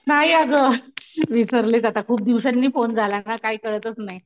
नाही अगं विसरलेच आता खूप दिवसांनी फोन झाला ना काही कळतंच नाही.